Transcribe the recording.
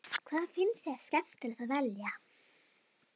Hvað finnst þér skemmtilegast að velja?